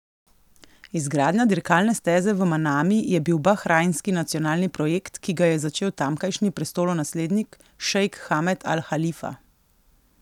Izgradnja dirkalne steze v Manami je bil bahrajnski nacionalni projekt, ki ga je začel tamkajšnji prestolonaslednik, šejk Hamad Al Halifa.